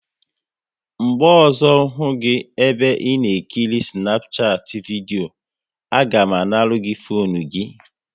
Mgbe ọzọ hụ gị ebe ị na ekiri Snapchat vidio, a ga m anara gị fone gị!